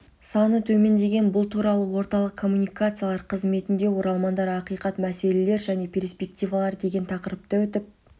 саны төмендеген бұл туралы орталық коммуникациялар қызметінде оралмандар ақиқат мәселелер және перспективалар деген тақырыпта өтіп